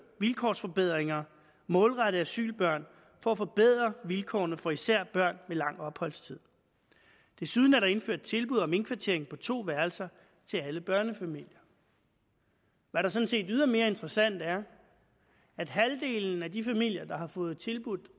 vilkårsforbedringer målrettet asylbørn for at forbedre vilkårene for især børn med lang opholdstid desuden er der indført tilbud om indkvartering på to værelser til alle børnefamilier hvad der sådan set ydermere er interessant er at halvdelen af de familier der har fået tilbudt